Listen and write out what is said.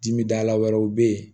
Dimidala wɛrɛw bɛ ye